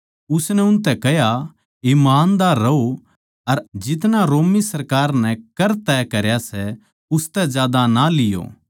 उसनै उनतै कह्या ईमानदार रहों अर जितना रोमी सरकार नै कर तय करया सै उसतै ज्यादा ना लियो